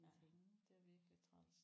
Ja det er virkelig træls